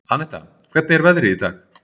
Annetta, hvernig er veðrið í dag?